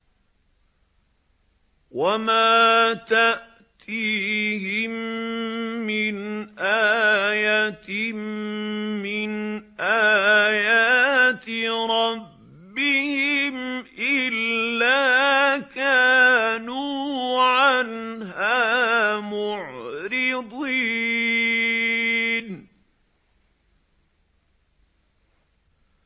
وَمَا تَأْتِيهِم مِّنْ آيَةٍ مِّنْ آيَاتِ رَبِّهِمْ إِلَّا كَانُوا عَنْهَا مُعْرِضِينَ